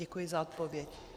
Děkuji za odpověď.